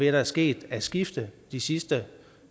er sket af skifte de sidste